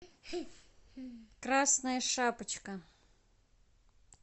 красная шапочка